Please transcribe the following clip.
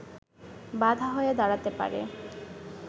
বাধা হয়ে দাঁড়াতে পারে